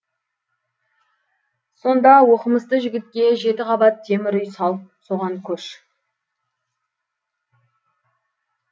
сонда оқымысты жігітке жеті қабат темір үй салып соған көш